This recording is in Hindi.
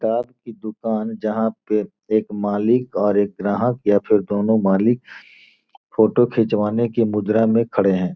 टॉप की दुकान जहाँ के एक मालिक और एक ग्राहक या फिर दोनों मालिक फोटो खिंचवाने के मुद्रा में खड़े है।